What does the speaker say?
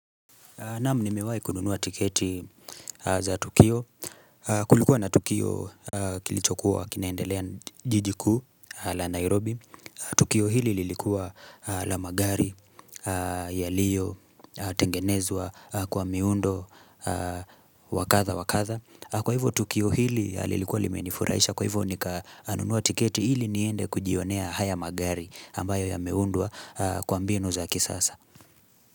Naam nimewahi kununuwa tiketi za Tukio, kulikuwa na Tukio kilichokuwa kinaendelea jiji kuu la Nairobi, Tukio hili lilikuwa la magari yaliyo, tengenezwa kwa miundo, wakadha, wakadha. Kwa hivyo Tukio hili lilikuwa limenifurahisha, kwa hivyo nikanunua tiketi hili niende kujionea haya magari ambayo yameundwa kwa mbinu za kisasa.